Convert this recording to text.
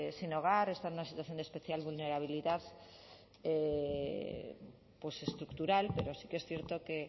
sin hogar están en una situación de especial vulnerabilidad estructural pero sí que es cierto que